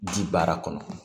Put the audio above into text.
Ji baara kɔnɔ